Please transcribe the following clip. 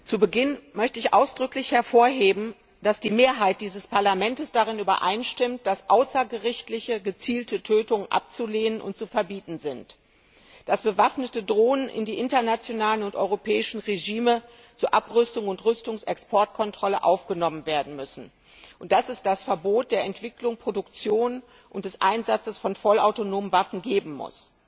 Zu Beginn möchte ich ausdrücklich hervorheben, dass die Mehrheit dieses Parlaments darin übereinstimmt, dass außergerichtliche gezielte Tötungen abzulehnen und zu verbieten sind, dass bewaffnete Drohnen in die internationalen und europäischen Regelungen zur Abrüstung und Rüstungsexportkontrolle aufgenommen werden müssen und dass es das Verbot der Entwicklung, der Produktion und des Einsatzes von vollautonomen Waffen geben muss.